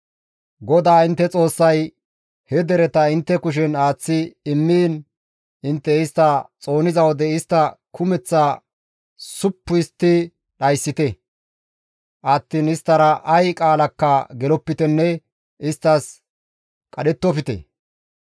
GODAA intte Xoossay he dereta intte kushen aaththi immiin intte istta xooniza wode istta kumeth suppu histti dhayssite attiin isttara ay qaalakka gelopitenne isttas qadhettofte.